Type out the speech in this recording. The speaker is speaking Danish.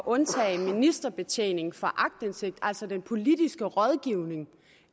undtage ministerbetjening fra aktindsigt altså den politiske rådgivning